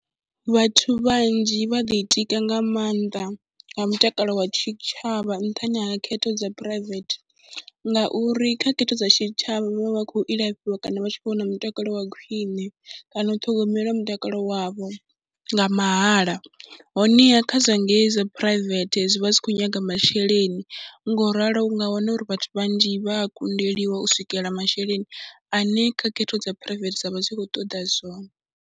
Vhathu vhanzhi vha ḓitika nga maanḓa nga mutakalo wa tshitshavha nṱhani ha khetho dza phuraivethe, ngauri kha khetho dza tshitshavha vha vha vha khou ilafhiwa kana vha tshi khou wana mutakalo wa khwine kana u ṱhogomela mutakalo wavho nga mahala. Honeha kha zwa ngei zwa phuraivethe zwi vha zwi khou nyaga masheleni ngo u ralo u nga wana uri vhathu vhanzhi vha a kundeliwa u swikela masheleni ane kha khetho dza phuraivethe dza vha dzi khou ṱoḓa zwone.